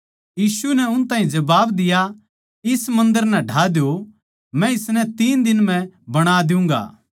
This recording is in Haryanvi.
यीशु नै उन ताहीं जबाब दिया इस मन्दर नै ढ़ा दो मै इसनै तीन दिनां म्ह बणा दियुँगा